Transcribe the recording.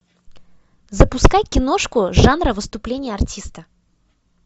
запускай киношку жанра выступление артиста